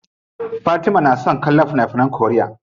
Fatima na son kallon fina finan koriya.